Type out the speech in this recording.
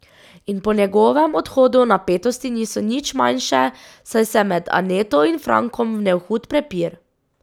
In po njegovem odhodu napetosti niso nič manjše, saj se je med Aneto in Frankom vnel hud prepir.